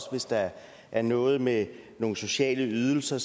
hvis der er noget med nogle sociale ydelser